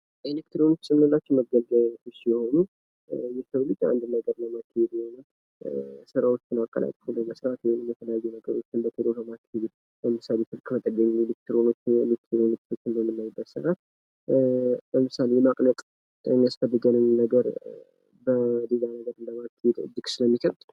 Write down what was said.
የተከተቱ ስርዓቶች (Embedded Systems) የተወሰነ ተግባርን ለማከናወን በሌሎች ትላልቅ ስርዓቶች ውስጥ የተካተቱ የኤሌክትሮኒክስ ስርዓቶች ናቸው